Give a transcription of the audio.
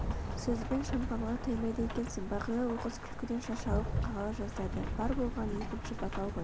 сөз бен шампанға тоймайды екенсің бағила оқыс күлкіден шашалып қала жаздады бар болғаны екінші бокал ғой